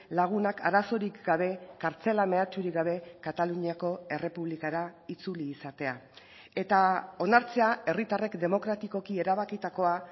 lagunak arazorik gabe kartzela mehatxurik gabe kataluniako errepublikara itzuli izatea eta onartzea herritarrek demokratikoki erabakitakoa